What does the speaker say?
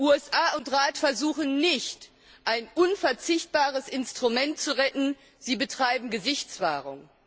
USA und Rat versuchen nicht, ein unverzichtbares Instrument zu retten, sie betreiben Gesichtswahrung.